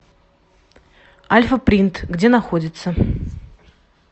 альфа принт где находится